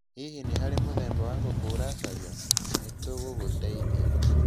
Hihi nĩ hari mũthemba wa ngũkũ ũracaria? Nĩ tũgũgũteithia.